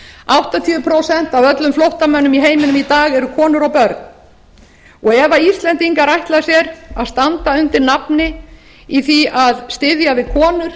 áttatíu prósent af öllum flóttamönnum í heiminum í dag eru konur og börn ef íslendingar ætla sér að standa undir nafni í því að styðja við konur